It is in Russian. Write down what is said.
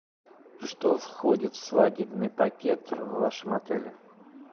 что входит в свадебный пакет в вашем отеле